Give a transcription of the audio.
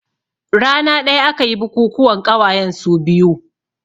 Rana ɗaya aka yi bukukuwan ƙawayen su biyu